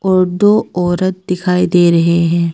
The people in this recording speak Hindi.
और दो औरत दिखाई दे रहे हैं।